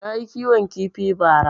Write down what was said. Nayi kiwon kifi ba ra